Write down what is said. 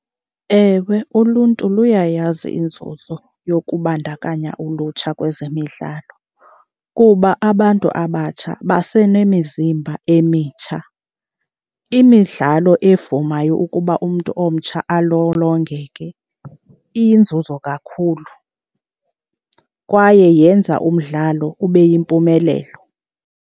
Ewe, uluntu luyayazi inzuzo yokubandakanya ulutsha kwezemidlalo kuba abantu abatsha basenemizimba emitsha. Imidlalo evumayo ukuba umntu omtsha alolongeke iyinzuzo kakhulu kwaye yenza umdlalo ube yimpumelelo.